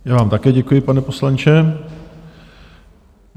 Já vám také děkuji, pane poslanče.